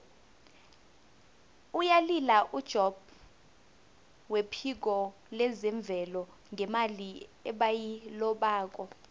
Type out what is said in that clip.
uyalila ujobb wephiko lezemvelo ngemali ebayilobako